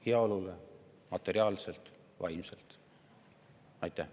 Nii materiaalsele kui ka vaimsele heaolule.